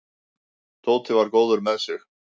Tóti var góður með sig.